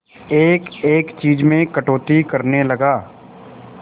एक एक चीज में कटौती करने लगा